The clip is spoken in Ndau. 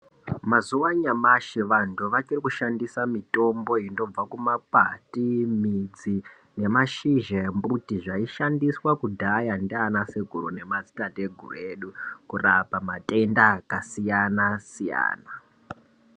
Mazuva anyamashi vantu vachirikushandisa mitombo inobva kumakwati, midzi nemashizha embuti, zvaishandiswa kudhaya ndiana sekuru nemadzitateguru edu, kurapa matenda akasiyana-siyana.